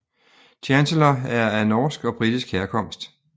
Chancellor er af norsk og britisk herkomst